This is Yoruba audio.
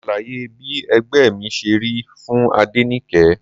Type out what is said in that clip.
Mo ṣàlàyé bí ẹgbẹ́ mi ṣe rí fún Adenike.